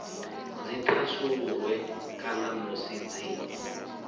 dzi thasululwe kana musi dzi